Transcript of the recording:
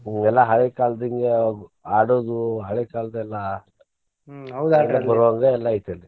ಹ್ಮ್ ಎಲ್ಲಾ ಹಳೆಕಾಲದ್ದ ಹಿಂಗ ಆಡೋದು ಹಳೆಕಾಲದೆಲ್ಲಾ ಎಲ್ಲಾ ಐತಿ ಅಲ್ಲಿ.